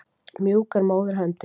Mjúk er móðurhöndin.